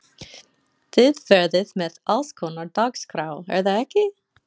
Þið verðið með allskonar dagskrá er það ekki?